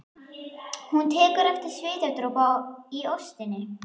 Hún tekur eftir svitadropa í óstinni.